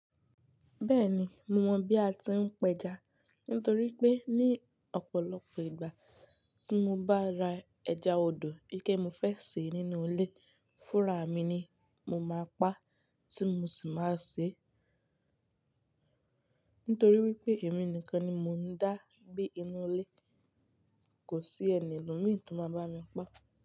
Bẹ́ẹ̀ni, mo mọ bí a ti ń pẹja nítorí pé ní ọ̀pọ̀lọpọ̀ ìgbà tí mo bá ra ẹja odò ike mo fẹ́ sè nínú ilé, fúnra mi ni mo máa pa tí mo sì máa sè. Nítorí wípé èmi nìkan ni mo ń dá bí inú ilé, kò sí ẹni lórí mi tó máa bá mi pa.